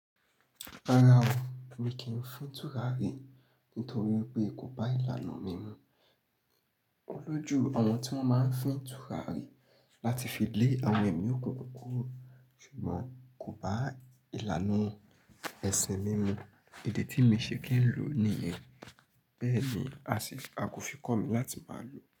Rárá o, mi kì í fín tùràrí nítorí pé kò bá ìlànà mímu. Olójú àwọn tí wọ́n máa ń fín tùràrí láti fi lé àwọn ẹ̀mí òkùnkùn kúrò ṣùgbọ́n kò bá ìlànà ẹ̀sìn mímu èdè tí mi ṣe kẹ́rù ló ni. Bẹ́ẹ̀ ni, a kò fi kọ́ mi láti máa lòó.